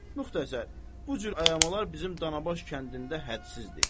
Müxtəsər, bu cür ayamalar bizim Danabaş kəndində hədsizdir.